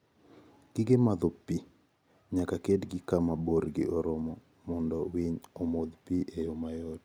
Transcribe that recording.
Gige madho pi: Nyaka ketgi kama borgi oromo mondo winy omodh pi e yo mayot.